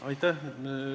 Aitäh!